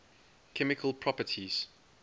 chemical properties